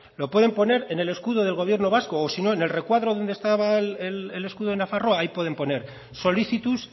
lo pueden poner en el escudo del gobierno vasco o si no en el recuadro donde estaba el escudo de nafarroa ahí pueden poner solicitus